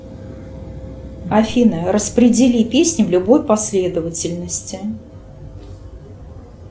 афина распредели песни в любой последовательности